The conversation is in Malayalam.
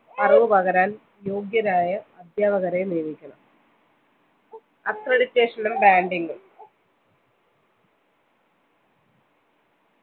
അറിവ് പകരാൻ യോഗ്യരായ അദ്ധ്യാപകരെ നിയമിക്കണം accreditation നും branding ഉം